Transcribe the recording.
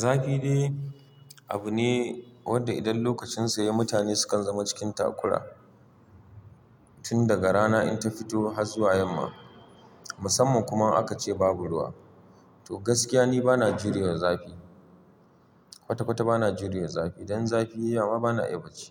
Zafi dai abune wanda idan lokacin sa yayi, mutane sukan zama cikin takura tun daga rana in ta fito har zuwa yamma. Musamman kuma aka ce babu ruwa. To gaskiya ni bana jurewa zafi. Kwata-kwata bana jurewar zafi. Dan zafi yayi ma bana iya bacci.